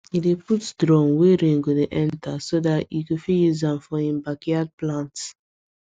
he put drum wey rain go dey enter so that e go fit use am for him backyard plants